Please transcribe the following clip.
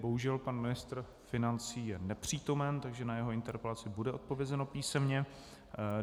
Bohužel pan ministr financí je nepřítomen, takže na jeho interpelaci bude odpovězeno písemně.